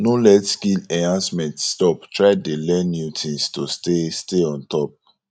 no let skill enhancement stop try dey learn new things to stay stay on top